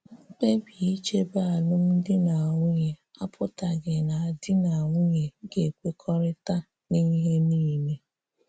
Mkpè̀bì ìchè́bè́ álụ́mdì na nwunyè apụ̀tàghì́ nà dì na nwunyè ga-ekwekọ́rị̀ta n’ihé niilè.